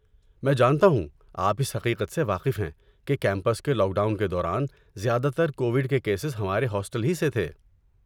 میں جانتا ہوں آپ اس حقیقت سے واقف ہیں کہ کیمپس کے لاک ڈاؤن کے دوران، زیادہ تر کوویڈ کے کیسز ہمارے ہاسٹل ہی سے تھے۔